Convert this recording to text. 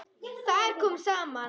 Þar komu saman